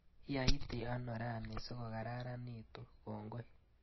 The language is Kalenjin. Iyaiti ano rani sikokaranitu, kongoi.